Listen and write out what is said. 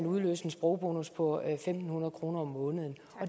udløse en sprogbonus på en tusind fem hundrede kroner om måneden